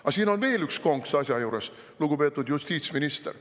Aga siin on veel üks konks asja juures, lugupeetud justiitsminister.